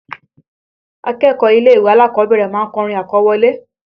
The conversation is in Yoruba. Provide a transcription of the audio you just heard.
Akẹ́kọ̀ọ́ ilé-ìwé alákọ̀ọ́bẹ̀rẹ̀ ma ń kọrin àkọwọlé